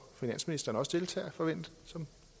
finansministeren også deltager